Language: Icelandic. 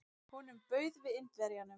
Honum bauð við Indverjanum.